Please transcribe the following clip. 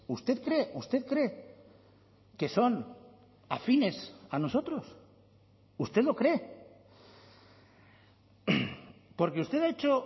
usted cree usted cree que son afines a nosotros usted lo cree porque usted ha hecho